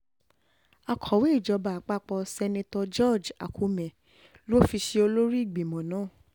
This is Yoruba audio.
akọ̀wé ìjọba àpapọ̀ seneto george akume ló fi ṣe olórí ìgbìmọ̀ náà